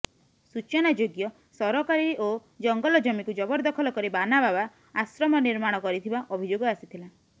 ସୂଚନାଯୋଗ୍ୟ ସରକାରୀ ଓ ଜଙ୍ଗଲ ଜମିକୁ ଜବରଦଖଲ କରି ବାନା ବାବା ଆଶ୍ରମ ନିର୍ମାଣ କରିଥିବା ଅଭିଯୋଗ ଆସିଥିଲା